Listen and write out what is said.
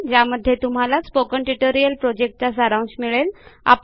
ज्यामध्ये तुम्हाला spoken tutorial प्रॉजेक्टचा सारांश मिळेल